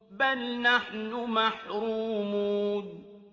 بَلْ نَحْنُ مَحْرُومُونَ